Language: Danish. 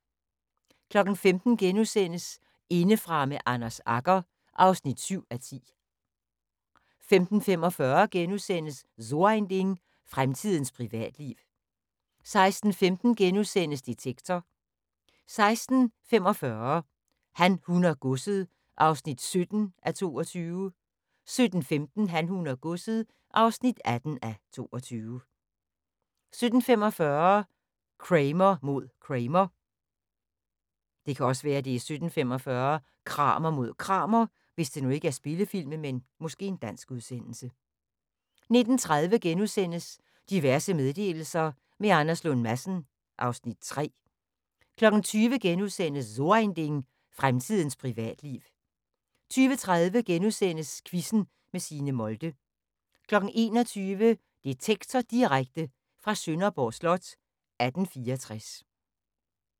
15:00: Indefra med Anders Agger (7:10)* 15:45: So ein Ding: Fremtidens privatliv * 16:15: Detektor * 16:45: Han, hun og godset (17:22) 17:15: Han, hun og godset (18:22) 17:45: Kramer mod Kramer 19:30: Diverse meddelelser – med Anders Lund Madsen (Afs. 3)* 20:00: So ein Ding: Fremtidens privatliv * 20:30: Quizzen med Signe Molde * 21:00: Detektor Direkte fra Sønderborg slot: 1864